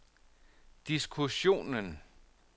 diskussionen